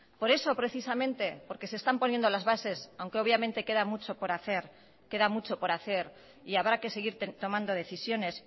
por eso precisamente por que se están poniendo las bases aunque obviamente queda mucho por hacer queda mucho por hacer y habrá que seguir tomando decisiones